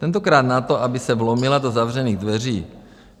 Tentokrát na to, aby se vlomila do zavřených dveří.